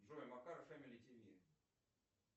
джой макар фэмили тв